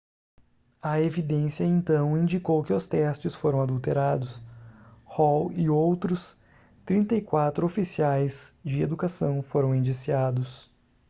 a evidência então indicou que os testes foram adulterados hall e outros outros 34 oficiais de educação foram indiciados